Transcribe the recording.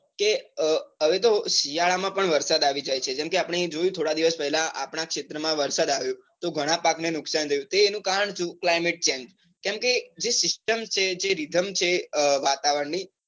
કે હવે તો શિયાળા માં પણ વરસાદ આવી જાય છે, જેમકે આપણે જોયું થોડા દિવસ પેલા આપણા ક્ષેત્ર માં વરસાદ આવ્યો તો ગણા પાક ને નુકસાન થયું. એનું કારણ સુ climate change કેમકે જે system છે જે rythm છે વાતાવરણની